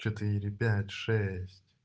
четыре пять шесть